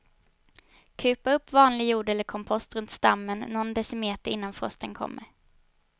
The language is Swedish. Kupa upp vanlig jord eller kompost runt stammen nån decimeter innan frosten kommer.